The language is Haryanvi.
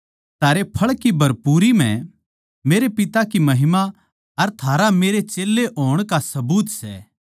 थारे फळ की भरपूरी म्ह मेरै पिता की महिमा अर थारा मेरे चेल्लें होण का सबूत सै